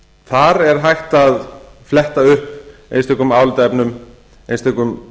þar er hægt að fletta upp einstökum álitaefnum einstökum